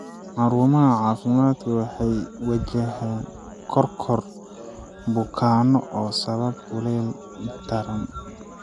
Xarumaha caafimaadka waxay wajahaan koror bukaanno oo sababa kuleylka daran.